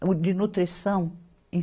o de nutrição, em